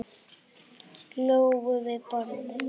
Lóu við borðið.